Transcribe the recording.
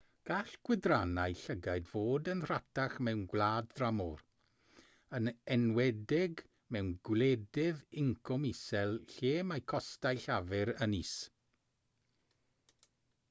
gall gwydrynnau llygaid fod yn rhatach mewn gwlad dramor yn enwedig mewn gwledydd incwm isel lle mae costau llafur yn is